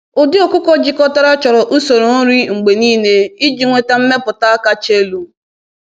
“Ụdị ọkụkọ jikọtara chọrọ usoro nri mgbe niile iji nweta mmepụta kacha elu.”